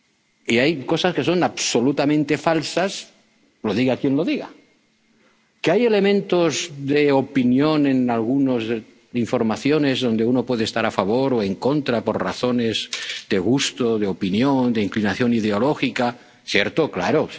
por cien. Y hay cosas que son absolutamente falsas, lo diga quien lo diga. Que haya elementos de opinión en algunas informaciones en los que uno puede estar a favor o en contra por razones de gusto, de opinión, de inclinación ideológica...